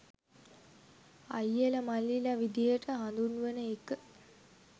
අයියලා මල්ලිලා විදිහට හඳුන්වන එක